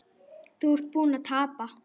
Þú ert búinn að tapa